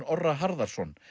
Orra Harðarson